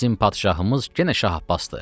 Bizim padşahımız yenə Şah Abbasdır.